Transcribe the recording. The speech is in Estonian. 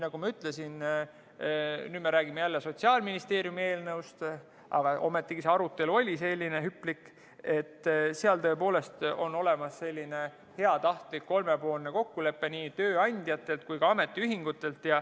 Nagu ma ütlesin – nüüd me räägime jälle Sotsiaalministeeriumi eelnõust, aga nii hüplik see arutelu oli –, seal tõepoolest on olemas selline heatahtlik kolmepoolne kokkulepe nii tööandjate kui ka ametiühingutega.